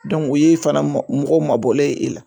o ye fana mɔgɔ mabɔlen ye e la